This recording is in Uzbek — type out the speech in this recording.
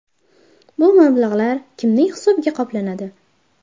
Bu mablag‘lar kimning hisobiga qoplanadi?